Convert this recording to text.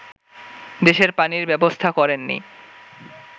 দেশের পানির ব্যবস্থা করেননি